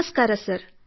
ನಮಸ್ಕಾರ ಸರ್